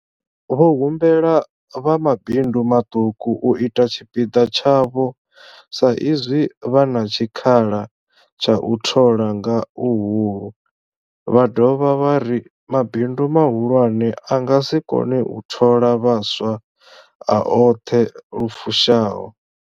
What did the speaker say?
Vho humbela vha mabindu maṱuku u ita tshipiḓa tshavho sa izwi vha na tshikhala tsha u thola nga huhulu, vha dovha vha ri mabindu mahulwane a nga si kone u thola vhaswa a oṱhe lu fushaho.